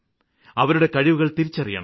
അവരുടെ കഴിവുകള് തിരിച്ചറിയണം